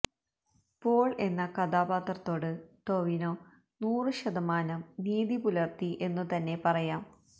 Paul എന്ന കഥാപാത്രത്തോട് ടോവിനോ നൂറ് ശതമാനം നീതി പുലര്ത്തി എന്നു തന്നെ പറയാം